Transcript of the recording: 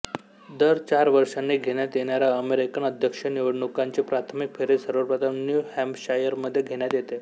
दर चार वर्षांनी घेण्यात येणाऱ्या अमेरिकन अध्यक्षीय निवडणुकांची प्राथमिक फेरी सर्वप्रथम न्यू हॅम्पशायरमध्ये घेण्यात येते